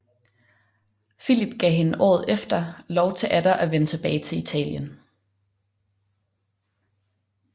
Filip gav hende året efter lov til atter at vende tilbage til Italien